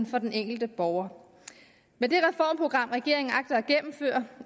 for den enkelte borger med det reformprogram regeringen agter at gennemføre